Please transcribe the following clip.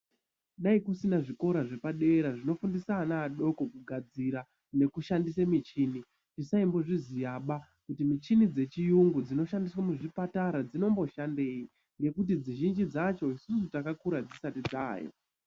Dei kusina zvikora zvepadera zvinofundisa ana adoko kugadzira nekushandisa muchini tisaimbozviziyaba. kuti michini yezviyungu dzinoshandiswa muzvipatara dzinomboshandei ngekuti mizhinji dzacho rakakura dzisati dzavayo.